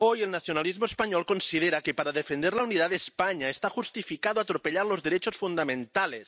Hoy el nacionalismo español considera que para defender la unidad de España está justificado atropellar los derechos fundamentales.